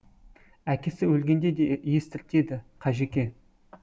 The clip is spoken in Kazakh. әкесі өлгенде де естіртеді қажеке